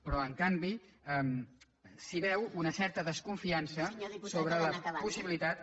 però en canvi s’hi veu una certa desconfiança sobre les possibilitats